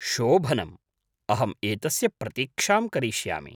शोभनम्, अहम् एतस्य प्रतीक्षां करिष्यामि।